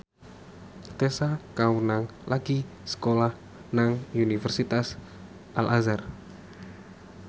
Tessa Kaunang lagi sekolah nang Universitas Al Azhar